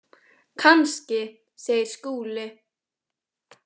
Kannski, segir Skúli.